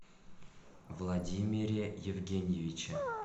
владимире евгеньевиче